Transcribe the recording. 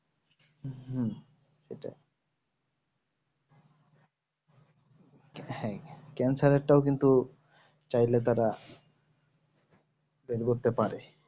হ্যাঁ cancer এর টা কিন্তু চাইলে তারা পেট ভরতে পারে